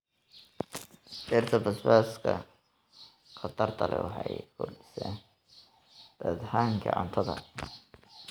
Dhirta basbaaska khatarta leh waxay kordhisaa dhadhanka cuntada.